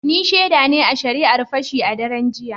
Ni shaida ne a shari’ar Fashi a daren jiya.